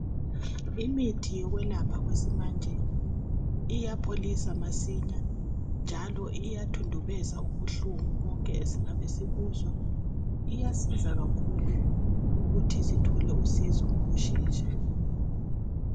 Imithi yokwelapha kwesimanje iyapholisa masinya njalo iyathundubeza ubuhlungu bonke esingabesibuzwa. Iyasiza kakhulu ukuthi sithole usizo ngokushesha.